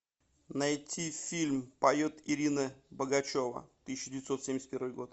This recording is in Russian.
найти фильм поет ирина богачева тысяча девятьсот семьдесят первый год